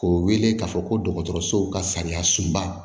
K'o wele k'a fɔ ko dɔgɔtɔrɔsow ka sariya sunba